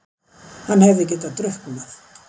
Hann hefði getað drukknað!